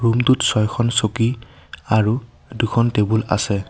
Room টোত ছয়খন চকী আৰু দুখন টেবুল আছে।